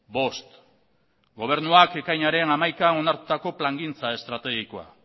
bost gobernuak ekainaren hamaikaan onartutako plangintza estrategikoa